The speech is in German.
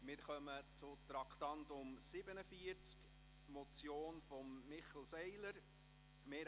Wir kommen zum Traktandum 47, eine Motion von Michel Seiler: «